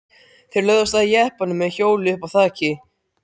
Þeir lögðu af stað í jeppanum með hjólið uppá þaki.